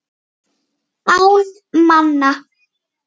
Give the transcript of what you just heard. Án manna.